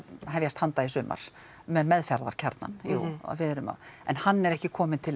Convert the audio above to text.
að hefjast handa í sumar með meðferðarkjarnann jú við erum en hann er ekki kominn til